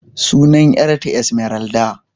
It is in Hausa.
Sunan yar ta Esmeralda.